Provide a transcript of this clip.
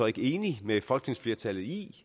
ikke enig med folketingsflertallet i